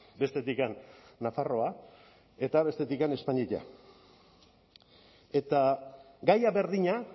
bestetik nafarroa eta bestetik espainia eta gaia berdina